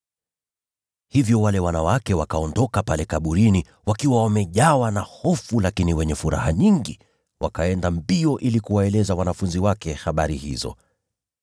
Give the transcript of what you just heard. Hivyo wale wanawake wakaondoka pale kaburini wakiwa wamejawa na hofu, bali wakiwa na furaha nyingi. Wakaenda mbio kuwaeleza wanafunzi wake habari hizo.